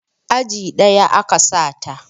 Aji ɗaya a ka sa ta